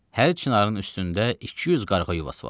Hər çinarın üstündə 200 qarğa yuvası var.